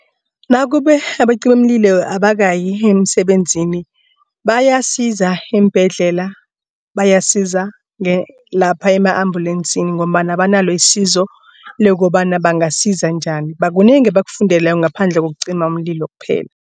Nakube abacimimlilo abakayi emsebenzini bayasiza eembhedlela. Bayasiza lapha ema-ambulensini ngombana banalo isizo lokobana bangasiza njani kunengi abakufundele ngaphandle wokucima umlilo kuphela.